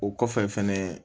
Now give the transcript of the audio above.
O kɔfɛ fɛnɛ